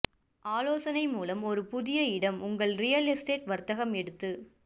ஆலோசனை மூலம் ஒரு புதிய இடம் உங்கள் ரியல் எஸ்டேட் வர்த்தகம் எடுத்து